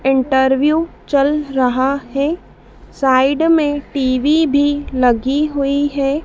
Interview चल रहा है साइड में टी_वी भी लगी हुई है।